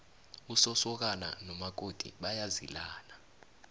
usosokana nomakoti bayazilana